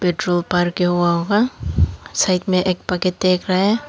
के हुआ होगा साइड में एक बकेट देख रहा है।